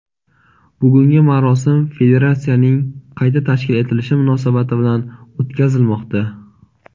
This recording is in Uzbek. bugungi marosim federatsiyaning qayta tashkil etilishi munosabati bilan o‘tkazilmoqda.